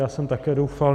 Já jsem také doufal.